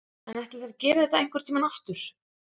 En ætli þær geri þetta einhvern tímann aftur?